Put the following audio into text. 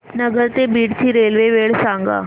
नगर ते बीड ची रेल्वे वेळ सांगा